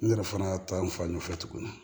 N yɛrɛ fana ta in fan ɲɛfɛ tuguni